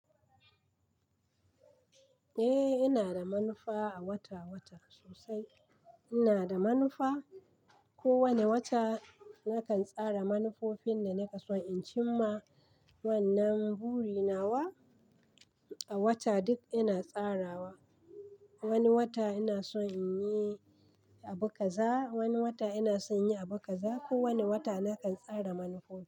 Eh, ina da manufa a wata wata sosai. Ina da manufa. Ko wane wata nakan tsara manufofin da naka so in cimma. Wannan buri nawa a wata duk ina tsarawa. Wani wata ina son in yi abu kaza, wani wata ina son yin abu kaza. Ko wane wata nakan tsara manufo.